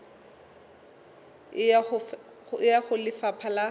e ya ho lefapha la